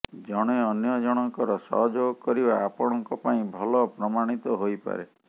ଜଣେ ଅନ୍ୟ ଜଣଙ୍କର ସହଯୋଗ କରିବା ଆପଣଙ୍କପାଇଁ ଭଲ ପ୍ରମାଣିତ ହୋଇପାରେ